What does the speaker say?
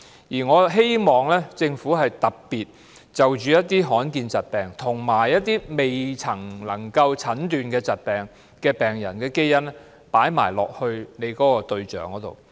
而我希望政府特別就罕見疾病，以及一些未能診斷疾病的患者的基因列為計劃的研究對象。